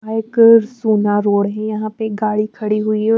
यहाँ एक सोना रोड़ है यहां पे एक गाड़ी खड़ी हुई है--